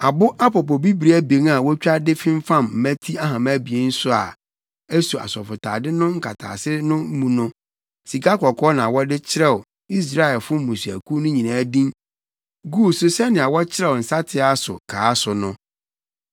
Abo apopobibiri abien a wotwa de femfam mmati ahama abien no a eso asɔfotade no nkataase no mu no, sikakɔkɔɔ na wɔde kyerɛw Israelfo mmusuakuw no nyinaa din guu so sɛnea wɔkyerɛw nsateaa so kaa so no.